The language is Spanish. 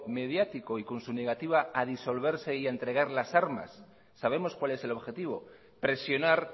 mediático y con su negativa a disolverse y a entregar las armas sabemos cual es el objetivo presionar